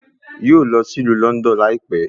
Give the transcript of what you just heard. Yóò lọ sí ìlú Lọ́ndọ̀n láìpẹ́